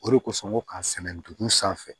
O de kosɔn ngo k'a sɛnɛ dugu sanfɛ